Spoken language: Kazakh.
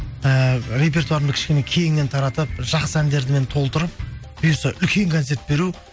ііі репертуарымды кішкене кеңінен таратып жақсы әндермен толтырып бұйырса үлкен концерт беру